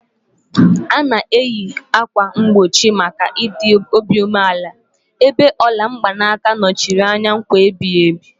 A na-eyi ákwà mgbochi maka ịdị obi umeala, ebe ola mgbanaka nọchiri anya nkwa ebighị ebi.